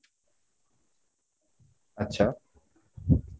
আচ্ছা